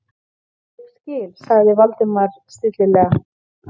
Ég skil- sagði Valdimar stillilega.